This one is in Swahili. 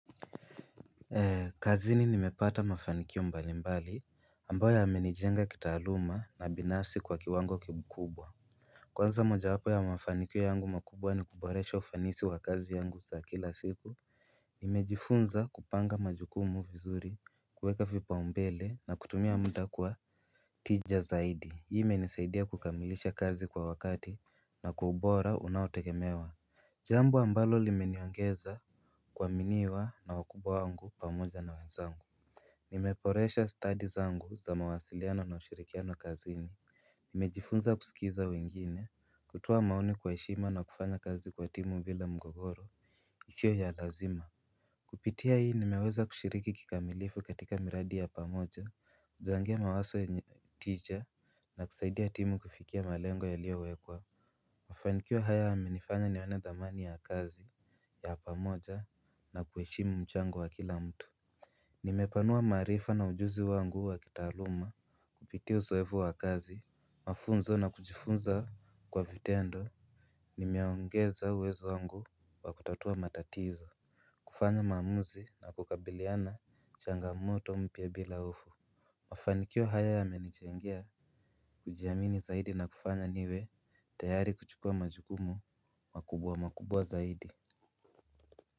Kazini nimepata mafanikio mbalimbali ambayo yamenijenga kitaaluma na binafsi kwa kiwango kikubwa. Kwanza moja wapo ya mafanikio yangu makubwa ni kuboresha ufanisi wa kazi yangu za kila siku. Nimejifunza kupanga majukumu vizuri kuweka vipaumbele na kutumia muda kwa tija zaidi. Hii imenisaidia kukamilisha kazi kwa wakati na kwa ubora unaotegemewa. Jambo ambalo limeniongeza kuaminiwa na wakubwa wangu pamoja na wenzangu nimeboresha stadi zangu za mawasiliano na ushirikiano kazini. Nimejifunza kusikiza wengine kutoa maoni kwa heshima na kufanya kazi kwa timu bila mgogoro sio ya lazima. Kupitia hii nimeweza kushiriki kikamilifu katika miradi ya pamoja kuchangia mawazo yenye tija na kusaidia timu kufikia malengo yaliyowekwa. Mafanikio haya yamenifanya nione dhamani ya kazi ya pamoja na kuheshimu mchango wa kila mtu. Nimepanua maarifa na ujuzi wangu wa kitaaluma. Kupitia uzoevu wa kazi, mafunzo na kujifunza kwa vitendo nimeongeza uwezo wangu wa kutatua matatizo kufanya maamuzi na kukabiliana changamoto mpya bila hofu. Mafanikio haya yamenijengea kujiamini zaidi na kufanya niwe tayari kuchukua majukumu makubwa makubwa zaidi.